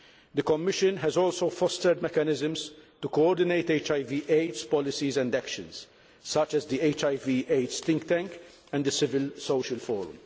The Commission has also fostered mechanisms to coordinate HIV AIDS policies and actions, such as the HIV AIDS Think Tank and the Civil Society Forum.